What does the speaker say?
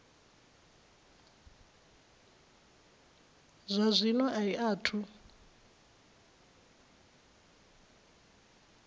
zwa zwino a i athu